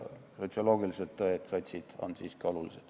Sotsioloogilised tõed, sotsid, on siiski olulised.